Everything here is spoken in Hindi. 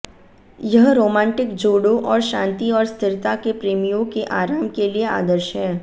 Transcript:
यह रोमांटिक जोड़ों और शांति और स्थिरता के प्रेमियों के आराम के लिए आदर्श है